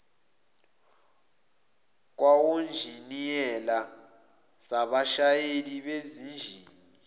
kwawonjiniyela zabashayeli bezinjini